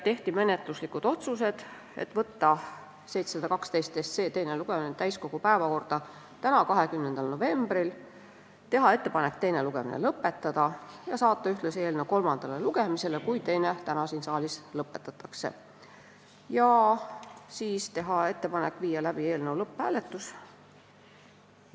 Tehti ka menetluslikud otsused: ettepanek võtta eelnõu 712 teiseks lugemiseks täiskogu päevakorda tänaseks, 20. novembriks, ettepanek teine lugemine lõpetada ja saata eelnõu ühtlasi kolmandale lugemisele, kui teine täna siin saalis lõpetatakse, ning viia siis läbi ka eelnõu lõpphääletus.